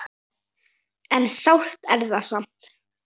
En sárt er það samt.